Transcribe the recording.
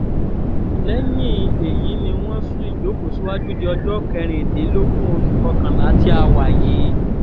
lẹ́yìn èyí ni wọ́n sún ìjókòó síwájú di ọjọ́ kẹrìndínlógún oṣù kọkànlá tí a wà yìí